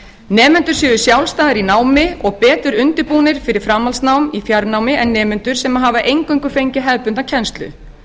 nemendur séu sjálfstæðir í námi og betur undirbúnir fyrir framhaldsnám í fjarnámi en nemendur sem hafa eingöngu fengið hefðbundna kennslu